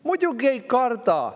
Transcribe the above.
Muidugi ei karda!